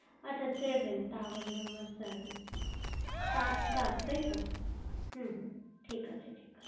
আচ্ছা seven tower number seven সাত সাত তাই তো হু ঠিক আছে ঠিক আছে